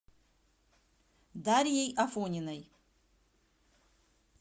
дарьей афониной